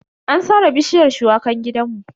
An sare bishiyar shuwakan gidanmu.